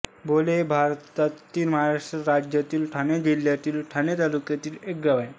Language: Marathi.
बाले हे भारतातील महाराष्ट्र राज्यातील ठाणे जिल्ह्यातील ठाणे तालुक्यातील एक गाव आहे